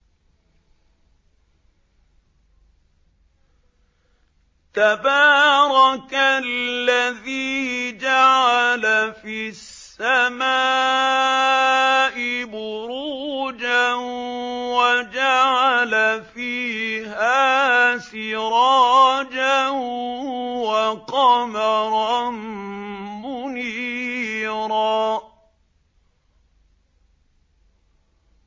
تَبَارَكَ الَّذِي جَعَلَ فِي السَّمَاءِ بُرُوجًا وَجَعَلَ فِيهَا سِرَاجًا وَقَمَرًا مُّنِيرًا